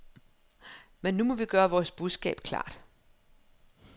Men nu må vi gøre vores budskab klart.